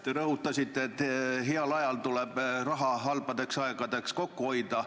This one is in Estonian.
Te rõhutasite, et heal ajal tuleb raha halbadeks aegadeks kokku hoida.